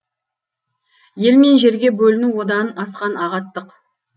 ел мен жерге бөліну одан асқан ағаттық